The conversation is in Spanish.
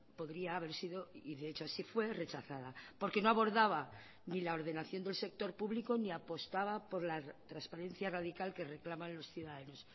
podría haber sido y de hecho así fue rechazada porque no abordaba ni la ordenación del sector público ni apostaba por la transparencia radical que reclaman los ciudadanos